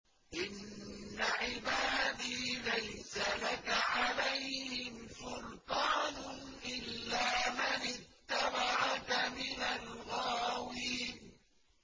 إِنَّ عِبَادِي لَيْسَ لَكَ عَلَيْهِمْ سُلْطَانٌ إِلَّا مَنِ اتَّبَعَكَ مِنَ الْغَاوِينَ